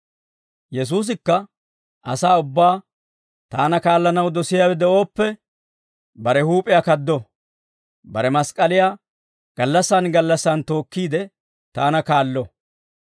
Yesuusikka asaa ubbaa, «Taana kaallanaw dosiyaawe de'ooppe, bare huup'iyaa kaddo; bare mask'k'aliyaa gallassaan gallassaan tookkiide taana kaallo.